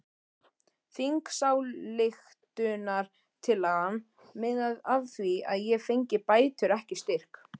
Þingsályktunartillagan miðaði að því að ég fengi bætur ekki styrk!